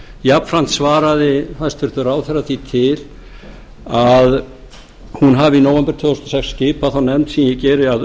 jafnframt svaraði hæstvirtur ráðherra því til að hún hafi í nóvember tvö þúsund og sex skipað þá nefnd sem ég geri að